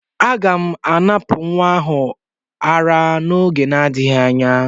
Aga m anapụ nwa m ara n'oge n'adịghị anya.